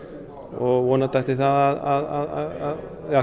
og vonandi ætti það að